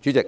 主席，